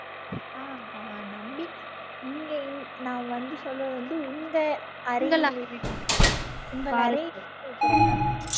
ஆஹ் ஆஹ் நம்பிட்டேன் இங்க நான் வந்து சொல்வது வந்து உங்க உங்க அறையில கேக்கறேன் நானு